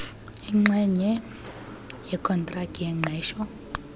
inxenye yokontraki yengqesho